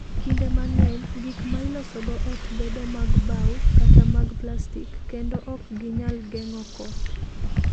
Kinde mang'eny, gik ma ilosogo ot bedo mag bao kata mag plastik, kendo ok ginyal geng'o koth.